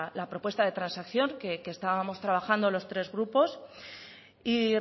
la propuesta de transacción que estábamos trabajando los tres grupos y